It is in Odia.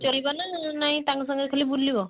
ଚଲେଇବ ନା ନାଇଁ ତାଙ୍କ ସାଙ୍ଗରେ ଖାଲି ବୁଲିବ?